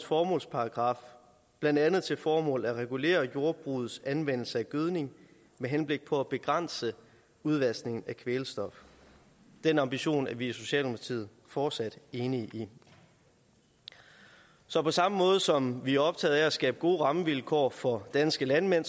formålsparagraf blandt andet til formål at regulere jordbrugets anvendelse af gødning med henblik på at begrænse udvaskningen af kvælstof den ambition er vi i socialdemokratiet fortsat enige i så på samme måde som vi er optaget af at skabe gode rammevilkår for danske landmænd